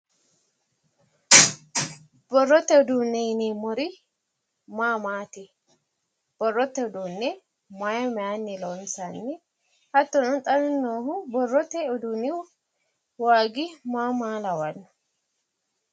Borrote uduune yineemori maa maati? Borrote uduune maay mayinni loonissanni? hattono xa noohu borrote iduunni waagi maa maa lawanno?